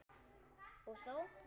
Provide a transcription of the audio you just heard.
Og þó?